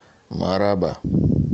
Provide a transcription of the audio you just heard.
мараба